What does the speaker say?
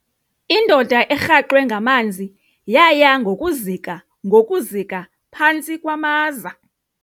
Indoda erhaxwe ngamanzi yaya ngokuzika ngokuzika phantsi kwamaza.